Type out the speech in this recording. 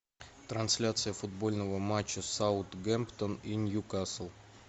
трансляция футбольного матча саутгемптон и ньюкасл